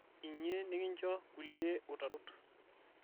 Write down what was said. inyie nikincho kulie utarot